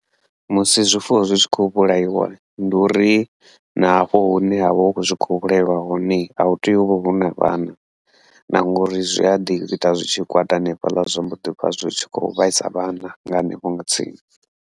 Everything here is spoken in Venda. Musi zwifuwo zwi tshi khou vhulaiwa, ndu uri na hafho hune havha hu khou zwi khou vhulaelwa hone ahu tea uvha huna vhana, na ngauri zwi a ḓi ita zwi tshi kwata hanefhaḽa zwa mbo ḓivha zwi tshi khou vhaisa vhana nga hanefho nga tsini.